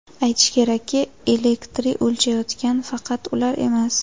Aytish kerakki, elektri o‘chayotgan faqat ular emas.